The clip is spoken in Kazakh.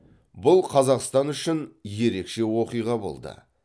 бұл қазақстан үшін ерекше оқиға болды